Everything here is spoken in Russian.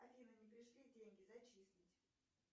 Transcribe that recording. афина не пришли деньги зачислить